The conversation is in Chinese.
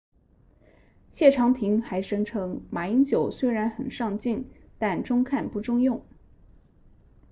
谢长廷还声称马英九虽然很上镜但中看不中用